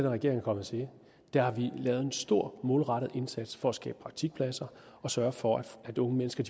regering er kommet til har vi lavet en stor målrettet indsats for at skabe praktikpladser og sørge for at unge mennesker